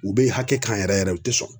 U be hakɛ kan yɛrɛ yɛrɛ u te sɔn.